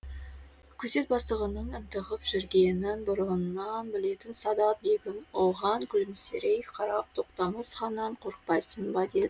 күзет бастығының ынтығып жүргенін бұрыннан білетін садат бегім оған күлімсірей қарап тоқтамыс ханнан қорықпайсың ба деді